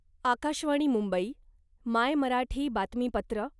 आकाशवाणी मुंबई मायमराठी बातमीपत्र